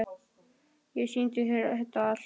Ég sýndi þér þetta allt.